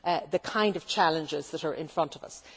the kind of challenges that are in front of us.